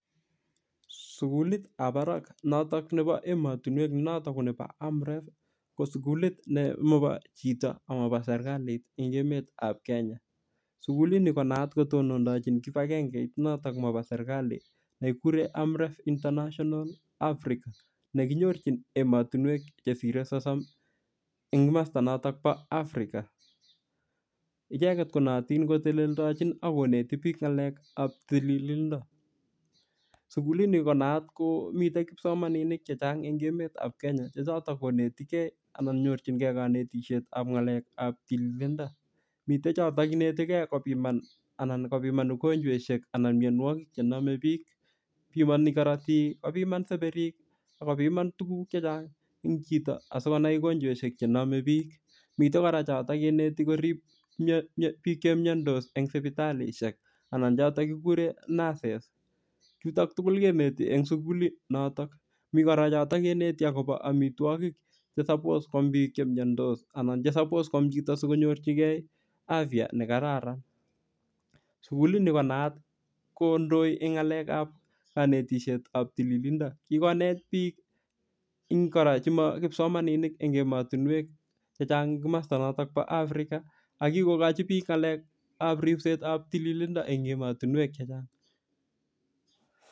Sukulitab barak noto nebo emotinwek ne noto ko nebo AMREF ko sukulit ne mabo chito amabo serikalit eng' emetab Kenya sukulini konaat kotondojin kipagengeit notok mabo serikali nekikure AMREF international Africa nekinyorchin emotinwek chesirei sosom ing' mosta notok bo African icheget konootin koteleldojin ak koneti biik ng'alekab tililindo sukulini konaat komitei kipsomaninik chechang' eng' emetab Kenya chechotok konetigei anan nyorchingei kanetishetab ng'alekab tililindo mitei choto inetilei kopiman anan kopiman ugonjweshek anan miyonwokik chenomei biik bimoni korotik kopiman seperek akopiman tukuk chechang' eng' chito asikonai ugonjweshek chenomei biik mitei kora choto keneti korib biik cheimiyondos eng' sipitalishek anan chotok kikure nurses chutok tukul keneti eng' sukulit notok mi kora chotok keneti akobo omitwokik chesapoa kwam biik chemiondos anan chesapoa kwam chito sikonyochigei afiya nekararan sukulini konayat kondoi eng' ng'alek kanetishetab tililindo kikonet biik kora chemakipsomaaninik eng' emotinwek chechang' eng' komosta notok bo African akikokochi biik ng'alekab ripsetab tililindo eng' emotinwek chechang'